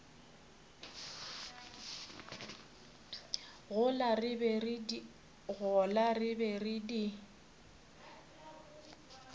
gola re be re di